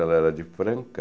Ela era de Franca.